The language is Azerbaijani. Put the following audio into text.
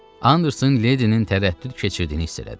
Anderson leydinin tərəddüd keçirdiyini hiss elədi.